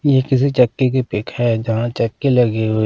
ये किसी चक्की की पिक है जहाँ चक्की लगी हुई।